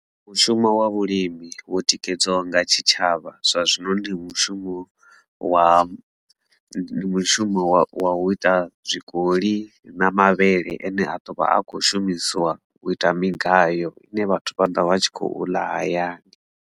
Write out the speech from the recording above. Mushumo wa vhulimi wo tikedziwaho nga tshitshavha zwa zwino ndi mushumo wa mushumo wa wa u ita zwikoli na mavhele ane a ḓo vha a kho shumisiwa u ita migayo ine vhathu vha ḓo vha tshi khou ḽa hayani.